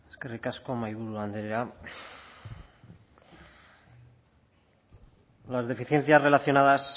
eskerrik asko mahaiburu andrea las deficiencias relacionadas